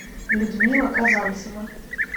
людмила казанцева